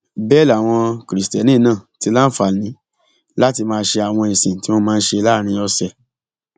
bẹẹ làwọn kristẹni náà ti láǹfààní láti máa ṣe àwọn ìsìn tí wọn máa ń ṣe láàrin ọsẹ